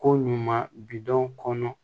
Ko ɲuman bidenw kɔnɔ